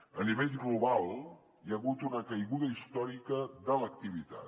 a nivell global hi ha hagut una caiguda històrica de l’activitat